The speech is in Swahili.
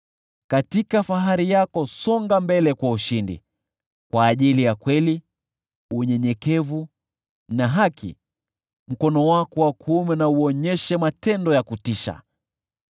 Katika fahari yako, songa mbele kwa ushindi, kwa ajili ya kweli, unyenyekevu na haki, mkono wako wa kuume na uonyeshe matendo ya kutisha.